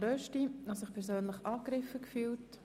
Er hat sich persönlich angegriffen gefühlt.